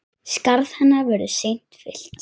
Skarð hennar verður seint fyllt.